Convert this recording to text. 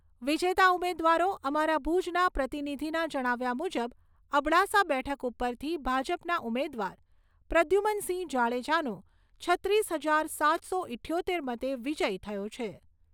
વિજેતા ઉમેદવારો અમારા ભૂજના પ્રતિનિધિના જણાવ્યા મૂજબ અબડાસા બેઠક ઉપરથી ભાજપના ઉમેદવાર પ્રદ્યુમનસિંહ જાડેજાનો છત્રીસ હજાર સાતસો ઈઠ્યોતેર મતે વિજય થયો છે.